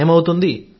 నయమవుతుంది